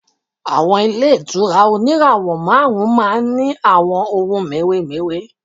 Àwọn ilé ìtura oníràwọ̀ márùn-ún ma ń ní àwọn ohun mèremère.